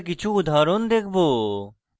আমরা কিছু উদাহরণ দেখব